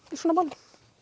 í svona málum